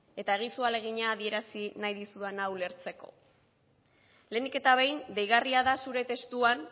eta egizu ahalegina adierazi nahi dizudana ulertzeko lehenik eta behin deigarria da zure testuan